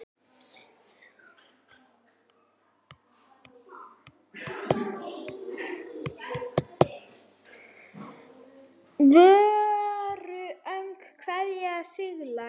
Voru öll kvæðin siðleg?